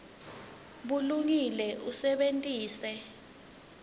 bulungile usebenitse